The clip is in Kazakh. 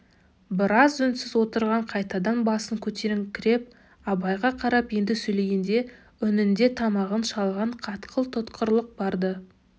біраз үнсіз отырып қайтадан басын көтеріңкіреп абайға қарап енді сөйлегенде үнінде тамағын шалған қатқыл тұтқырлық бар-ды